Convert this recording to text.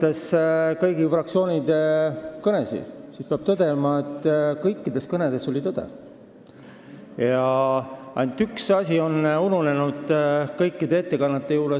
Olles kuulanud kõigi fraktsioonide kõnesid, peab tõdema, et kõikides kõnedes oli tõde, ainult üks asi ununes kõikidel ettekandjatel ära.